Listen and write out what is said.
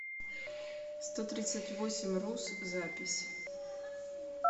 стотридцатьвосемьрус запись